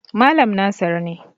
Malam Nasir ne.